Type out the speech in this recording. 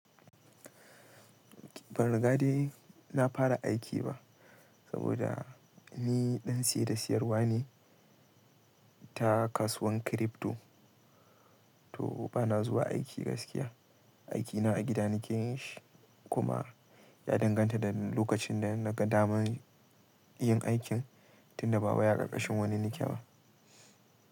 Ban riga dai na fara aiki ba saboda ni dansiye da siyarwa ne ta kasuwan crypto, to bana zuwa aiki gaskiya. Aikina a gida nake yi shi kuma ya danganta da lokacin da nagadama yin aikin tunda bawai a ƙarƙashin wani nikeba.